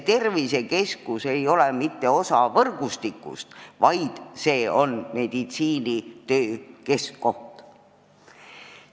Tervisekeskus ei ole mitte osa võrgustikust, vaid see on meditsiinitöö keskkoht.